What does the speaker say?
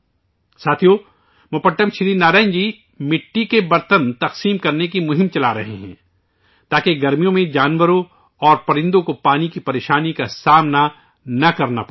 ساتھیو ، موپٹم سری نارائنن جی مٹی کے برتن تقسیم کرنے کی مہم چلا رہے ہیں تاکہ گرمیوں میں جانوروں اور پرندوں کو پانی کی پریشانی کا سامنا نہ کرنا پڑے